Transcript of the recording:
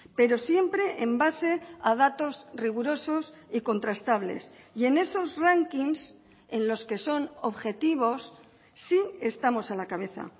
pero siempre en base a datos rigurosos y contrastables y en esos rankings en los que son objetivos sí estamos a la cabeza